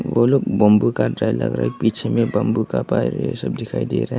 वो लोग बम्बू काट रहे है लग रहा है पीछे में बम्बू का पेड़ है ये सब दिखाई दे रहा है।